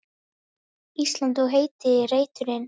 Ísland og heiti reiturinn.